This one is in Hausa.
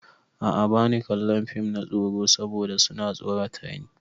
A'a bani kallon fim na tsoro saboda su na tsorata ni.